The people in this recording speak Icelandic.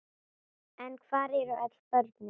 En hvar eru öll börnin?